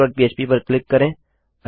missingपह्प पर क्लिक करें